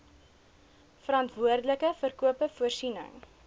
verantwoordelike verkope voorsiening